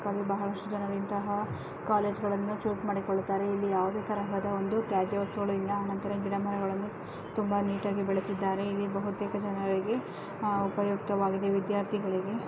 ಬಹಳಷ್ಟು ಜನರು ಇಂತಹ ಕಾಲೇಜು ಗಳನ್ನು ಚೂಸ್ ಮಾಡಿಕೊಳ್ಳುತ್ತಾರೆ ಇಲ್ಲಿ ಯಾವುದೆ ತರಹದ ಒಂದು ತ್ಯಾಜ್ಯ ವಸ್ತುಗಳು ಇಲ್ಲ ಆನಂತರ ಗಿಡ ಮರಗಳನ್ನು ತುಂಬಾ ನೀಟಾ ಗಿ ಬೆಳೆಸಿದ್ದಾರೆ ಇಲ್ಲಿ ಬೇಹುತೇಕ ಜನರಿಗೆ ಉಪಯುಕ್ತವಾಗಿದೆ ವಿದ್ಯಾರ್ಥಿಗಳಿಗೆ ---